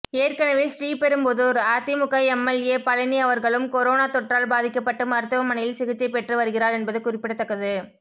ஏற்கனவே ஸ்ரீபெரும்புதூர் அதிமுக எம்எல்ஏ பழனி அவர்களும் கொரோனா தொற்றால் பாதிக்கப்பட்டு மருத்துவமனையில் சிகிச்சை பெற்று வருகிறார் என்பது குறிப்பிடத்தக்கது